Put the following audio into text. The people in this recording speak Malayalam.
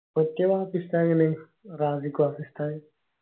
ഉസ്താദ്?